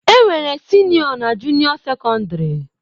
Enwere Sinio na junio secondary.